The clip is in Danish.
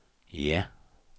ja